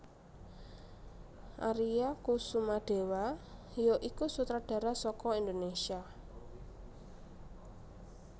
Aria Kusumadewa ya iku sutradara saka Indonésia